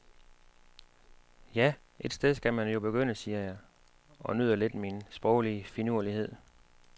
Ja, et sted skal man jo begynde, siger jeg, og nyder lidt min sproglige finurlighed.